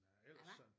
Ah hva